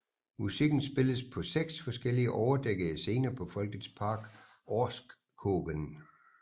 Musikken spilles på seks forskellige overdækkede scener på Folkets Park Orrskogen